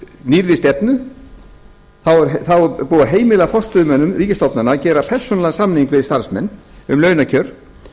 nýrri stefnu þá er búið að heimila forstöðumönnum ríkisstofnana að gera persónulegan samning við starfsmenn um launakjör